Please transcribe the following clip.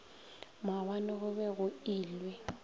maabane go be go ilwe